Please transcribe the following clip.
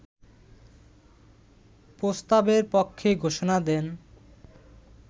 প্রস্তাবের পক্ষে ঘোষণা দেন